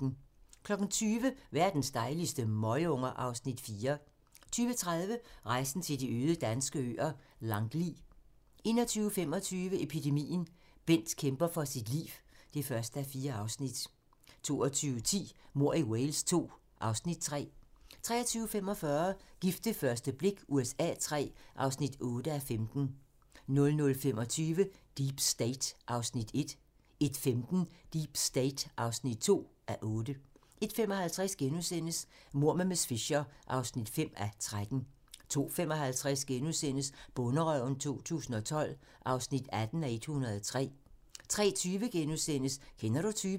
20:00: Verdens dejligste møgunger (Afs. 4) 20:30: Rejsen til de øde danske øer - Langli 21:25: Epidemien - Bent kæmper for sit liv (1:4) 22:10: Mord i Wales II (Afs. 3) 23:45: Gift ved første blik USA III (8:15) 00:25: Deep State (1:8) 01:15: Deep State (2:8) 01:55: Mord med miss Fisher (5:13)* 02:55: Bonderøven 2012 (18:103)* 03:20: Kender du typen? *